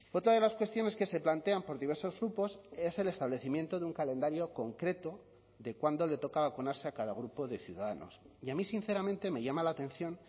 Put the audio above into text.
otra de las cuestiones que se plantean por diversos grupos es el establecimiento de un calendario concreto de cuándo le toca vacunarse a cada grupo de ciudadanos y a mí sinceramente me llama la atención